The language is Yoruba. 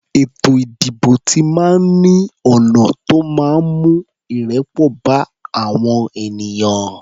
Ètò ìdìbò ti máa ń ní ọ̀nà tó máa ń mú ìrẹ́pọ̀ bá àwọn ènìyàn.